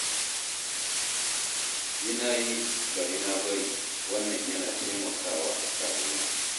Yi na yi, bari na bari, wannan yana taimakawa rayuwa.